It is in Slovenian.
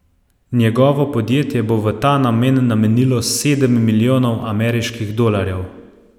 Njegovo podjetje bo v ta namen namenilo sedem milijonov ameriških dolarjev.